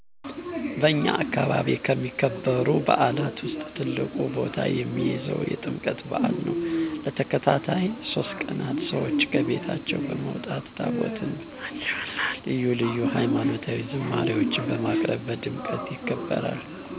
በእኛ አከባቢ ከሚከበሩ በዓላት ውስጥ ትልቁን ቦታ የሚይዘው የጥምቀት በዓል ነው። ለተከታታይ 3 ቀናት ሰዎች ከቤታቸው በመውጣት ታቦት በማጀብ እና ልዩ ልዩ ሀይማኖታዊ ዝማሪዎችን በማቅረብ በድምቀት ይከበራል።